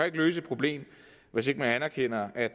ikke løse et problem hvis ikke man erkender at